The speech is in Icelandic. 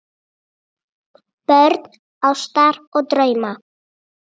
Börn ástar og drauma